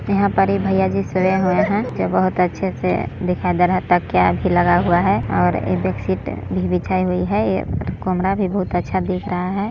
यहाँ पर ये भैया जी सोए हुए हैं जो बहुत अच्छे से दिखाई दे रहा है तकिया भी लगाया हुआ है और ये बेड शीट भी बिछाई हुई है यह कमरा भी बहुत अच्छा दिख रहा है।